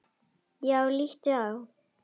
Já, líttu á.